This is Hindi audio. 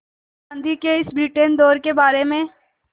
गांधी के इस ब्रिटेन दौरे के बारे में